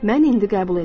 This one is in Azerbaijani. Mən indi qəbul edirəm.